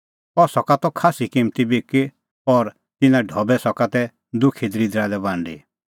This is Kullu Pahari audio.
अह सका त खास्सी किम्मती बिकी और तिन्नां ढबै सका तै दुखी दल़िदरा लै बांडी